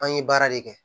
An ye baara de kɛ